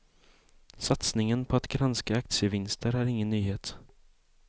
Satsningen på att granska aktievinster är ingen nyhet.